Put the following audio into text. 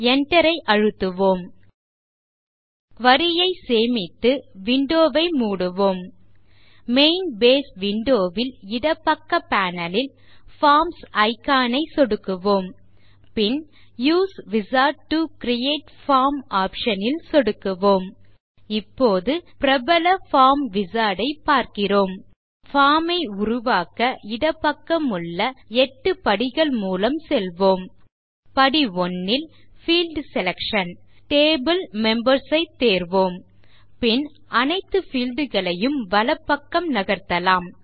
Enter ஐ அழுத்துவோம் query ஐ சேமித்து விண்டோ ஐ மூடுவோம் மெயின் பேஸ் விண்டோ ல் இடப்பக்க பேனல் ல் பார்ம்ஸ் இக்கான் ஐ சொடுக்குவோம் பின் use wizard to create form option ல் சொடுக்குவோம் இப்போது பிரபல பார்ம் விசார்ட் ஐ பார்க்கிறோம் நம் பார்ம் ஐ உருவாக்க இடப்பக்கமுள்ள 8 படிகள் மூலம் செல்வோம் படி 1 ல் பீல்ட் செலக்ஷன் Table மெம்பர்ஸ் ஐ தேர்வோம் பின் அனைத்து பீல்ட் களையும் வலப்பக்கம் நகர்த்தலாம்